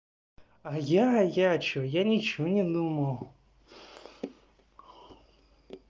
а я я что я ничего не думал